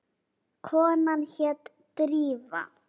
Konan hét Drífa.